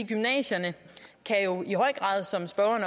gymnasierne kan jo i høj grad som spørgeren